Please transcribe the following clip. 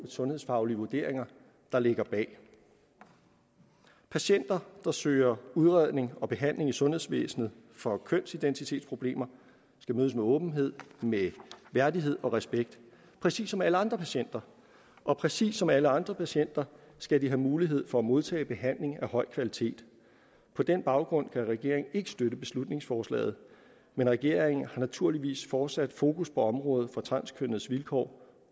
sundhedsfaglige vurderinger der ligger bag patienter der søger udredning og behandling i sundhedsvæsenet for kønsidentitetsproblemer skal mødes med åbenhed med værdighed og respekt præcis som alle andre patienter og præcis som alle andre patienter skal de have mulighed for at modtage behandling af høj kvalitet på den baggrund kan regeringen ikke støtte beslutningsforslaget men regeringen har naturligvis fortsat fokus på området for transkønnedes vilkår